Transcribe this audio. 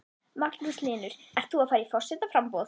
Magnús Hlynur: Ert þú að fara í forsetaframboð?